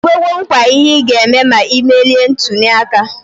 Ikwego nkwa ihe iga eme na imelie ntuli aka?